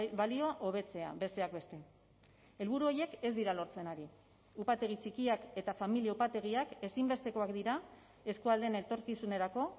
balioa hobetzea besteak beste helburu horiek ez dira lortzen ari upategi txikiak eta familia upategiak ezinbestekoak dira eskualdeen etorkizunerako